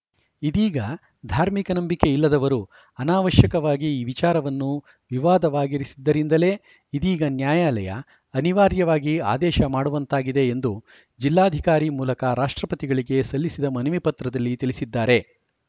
ಇದೀಗ ಧಾರ್ಮಿಕ ನಂಬಿಕೆ ಇಲ್ಲದವರು ಅನಾವಶ್ಯಕವಾಗಿ ಈ ವಿಚಾರವನ್ನು ವಿವಾದವಾಗಿಸಿದ್ದರಿಂದಲೇ ಇದೀಗ ನ್ಯಾಯಾಲಯ ಅನಿವಾರ್ಯವಾಗಿ ಆದೇಶ ಮಾಡುವಂತಾಗಿದೆ ಎಂದು ಜಿಲ್ಲಾಧಿಕಾರಿ ಮೂಲಕ ರಾಷ್ಟ್ರಪತಿಗಳಿಗೆ ಸಲ್ಲಿಸಿದ ಮನವಿ ಪತ್ರದಲ್ಲಿ ತಿಳಿಸಿದ್ದಾರೆ